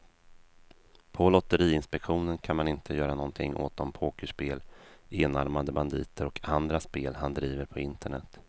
På lotteriinspektionen kan man inte göra någonting åt de pokerspel, enarmade banditer och andra spel han driver på internet.